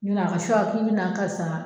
k'i bɛ na karisa